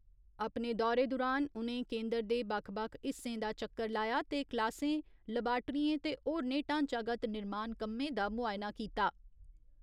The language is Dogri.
अपने दौरे दुरान उ'नें केन्दर दे बक्ख बक्ख हिस्सें दा चक्कर लाया ते क्लासें, लबाट्रिएं ते होरनें ढांचागत निर्माण कम्में दा मुआयना कीता।